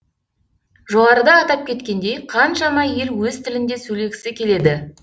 жоғарыда атап кеткендей қаншама ел өз тілінде сөйлегісі келеді